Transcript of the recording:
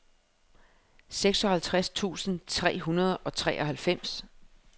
seksoghalvtreds tusind tre hundrede og treoghalvfems